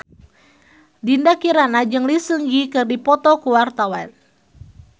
Dinda Kirana jeung Lee Seung Gi keur dipoto ku wartawan